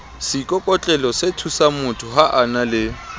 seikokotlelosethusangmotho ha a na le